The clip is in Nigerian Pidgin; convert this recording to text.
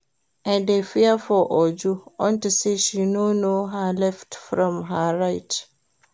I dey fear for Uju unto say she no know her left from her right